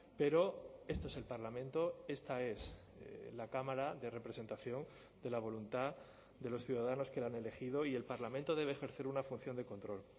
pero este es el parlamento esta es la cámara de representación de la voluntad de los ciudadanos que la han elegido y el parlamento debe ejercer una función de control